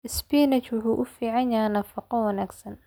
Spinach wuxuu u fiican yahay nafaqo wanaagsan.